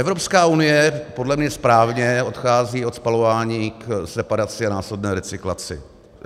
Evropská unie podle mě správně odchází od spalování k separaci a následné recyklaci.